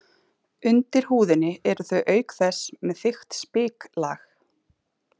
Undir húðinni eru þau auk þess með þykkt spiklag.